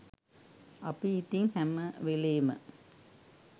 අපි ඉතින් හැමවෙලේම